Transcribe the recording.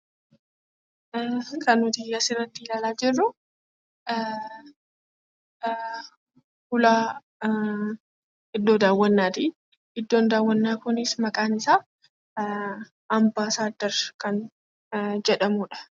Kan nuti asirratti ilaalaa jirru ulaa iddoo daawwannaati. Iddoon daawwannaa Kunis maqaan isaa ambaasandar kan jedhamuudha